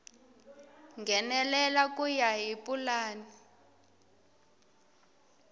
nghenelela ku ya hi pulani